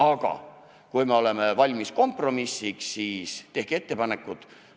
Aga kui me oleme valmis kompromissiks, siis tehke ettepanekuid.